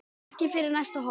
Ekki fyrir næsta horn.